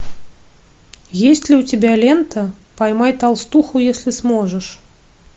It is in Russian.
есть ли у тебя лента поймай толстуху если сможешь